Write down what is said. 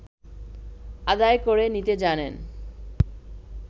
আদায় করে নিতে জানেন